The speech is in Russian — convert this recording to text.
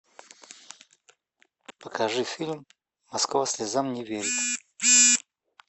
покажи фильм москва слезам не верит